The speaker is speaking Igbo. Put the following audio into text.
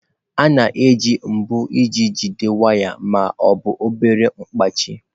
A na-eji mbọ iji jide waya ma ọ bụ obere mkpachị.